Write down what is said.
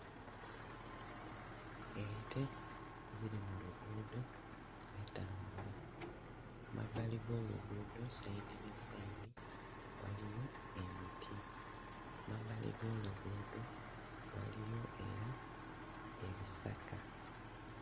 Ente ziri mu luguudo zitambula. Mu mabbali g'oluguudo sayidi ne sayidi waliyo emiti, mu mabbali g'oluguudo waliyo era ebisaka.